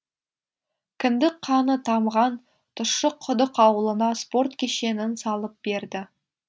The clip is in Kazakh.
кіндік қаны тамған тұщықұдық ауылына спорт кешенін салып берді